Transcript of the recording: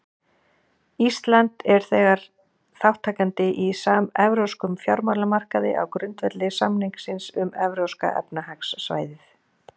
Ísland er þegar þátttakandi í samevrópskum fjármálamarkaði á grundvelli samningsins um Evrópska efnahagssvæðið.